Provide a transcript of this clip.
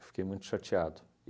Fiquei muito chateado.